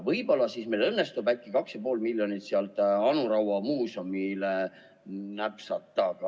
Võib-olla meil õnnestub äkki 2,5 miljonit sealt Anu Raua muuseumile napsata?